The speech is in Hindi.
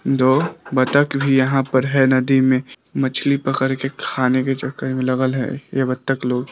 दो बातख भी यहां पर है नदी में मछली पकड़ के खाने के चक्कर में लगल है ये बतख लो--